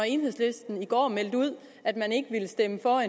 enhedslisten i går meldte ud at man ikke vil stemme for